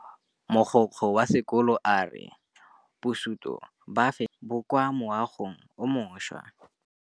Mogokgo wa sekolo a re bosutô ba fanitšhara bo kwa moagong o mošwa.